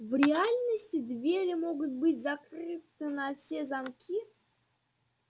в реальности двери могут быть закрыты на все замки